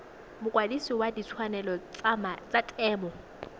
mokwadise wa ditshwanelo tsa temo